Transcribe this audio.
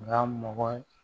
Nka mɔgɔ ye